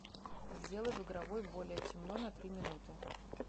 сделай в игровой более темно на три минуты